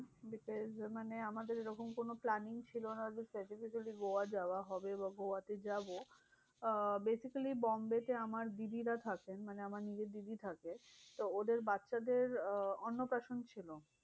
মানে আমাদের ওরকম কোনো planning ছিল না যে specifically গোয়া যাওয়া হবে বা গোয়াতে যাবো। আহ basically বোম্বেতে আমার দিদিরা থাকেন। মানে আমার নিজের দিদি থাকে তো ওদের বাচ্চাদের আহ অন্নপ্রাশন ছিল।